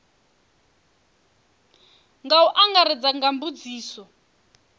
nga u angaredza nga mbudziso